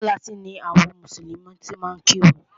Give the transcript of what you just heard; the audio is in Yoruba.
Mọ́sálásí ni àwọn mùsùlùmí ti máa ń kírun.